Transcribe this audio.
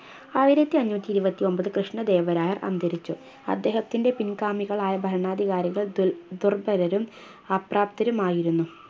ആയിരത്തി അഞ്ഞൂറ്റിയിരുപത്തിയൊമ്പത് കൃഷ്ണദേവരായ അന്തരിച്ചു അദ്ദേഹത്തിൻറെ പിൻഗാമികളായ ഭരണാധികാരികൾ ദുൽ ദുർബലരും അപ്രാപ്തരുമായിരുന്നു